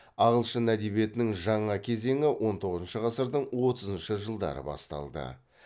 ағылшын әдебиетінің жаңа кезеңі он тоғызыншы ғасырдың отызыншы жылдары басталды